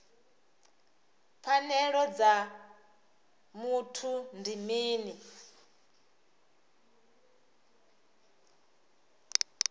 pfanelo dza muthu ndi mini